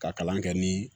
Ka kalan kɛ ni